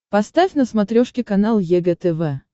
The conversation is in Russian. поставь на смотрешке канал егэ тв